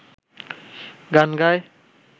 গান গায়